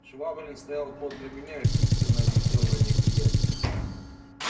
швабрин стоял подле меня и пристально глядел на неприятеля